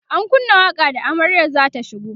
an kunna waƙa da amaryar zata shigo